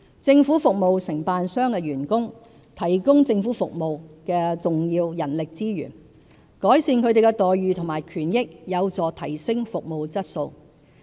政府服務承辦商的員工是提供政府服務的重要人力資源，改善他們的待遇和權益有助提升服務質素。